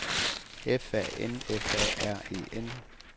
F A N F A R E N